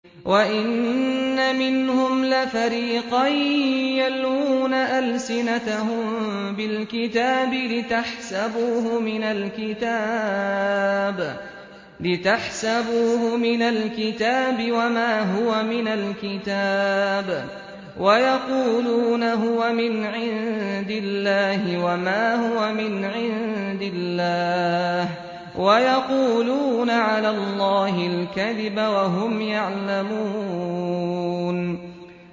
وَإِنَّ مِنْهُمْ لَفَرِيقًا يَلْوُونَ أَلْسِنَتَهُم بِالْكِتَابِ لِتَحْسَبُوهُ مِنَ الْكِتَابِ وَمَا هُوَ مِنَ الْكِتَابِ وَيَقُولُونَ هُوَ مِنْ عِندِ اللَّهِ وَمَا هُوَ مِنْ عِندِ اللَّهِ وَيَقُولُونَ عَلَى اللَّهِ الْكَذِبَ وَهُمْ يَعْلَمُونَ